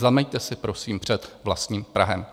Zameťte si, prosím, před vlastním prahem.